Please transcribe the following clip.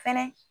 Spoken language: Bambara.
Fɛnɛ